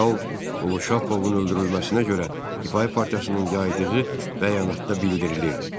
General Qoloşapovun öldürülməsinə görə Difai partiyasının yaydığı bəyanatda bildirilirdi.